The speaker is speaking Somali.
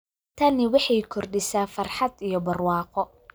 Tani waxay kordhisaa farxad iyo barwaaqo.